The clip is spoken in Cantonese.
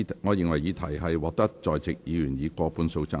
我認為議題獲得在席議員以過半數贊成。